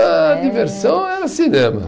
A diversão era cinema.